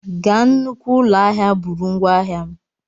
Gaa nnukwu ụlọ ahịa, buru ngwá ahịa m!